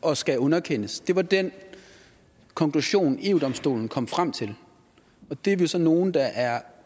og skal underkendes det var den konklusion eu domstolen kom frem til og det er vi så nogle der er